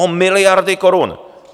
O miliardy korun!